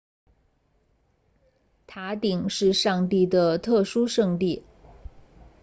塔顶是上帝的特殊圣地